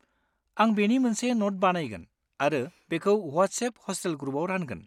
आं बेनि मोनसे न'ट बानायगोन आरो बेखौ वाट्सएप हस्टेल ग्रुपआव रानगोन।